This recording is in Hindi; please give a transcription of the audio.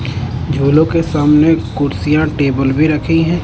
झूलो के सामने कुर्सियां टेबल भी रखी हैं।